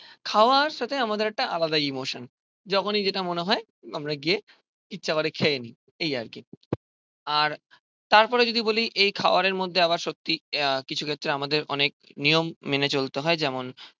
খাওয়ার সাথে আমাদের একটা আলাদা ইমোশান. যখনই যেটা মনে হয় আমরা গিয়ে ইচ্ছা করে খেয়ে নি. এই আর কি আর তারপরে যদি বলি এই খাবারের মধ্যে আবার সত্যি আহ কিছু ক্ষেত্রে আমাদের অনেক নিয়ম মেনে চলতে হয় যেমন